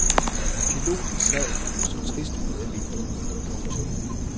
Piloten sad og så trist ud ad vinduet. punktum